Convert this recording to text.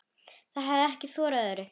Það hefir ekki þorað öðru.